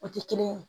O tɛ kelen ye